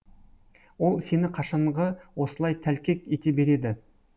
ол сені қашанғы осылай тәлкек ете береді